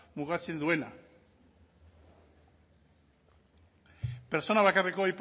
mugatzen duena pertsona bakarreko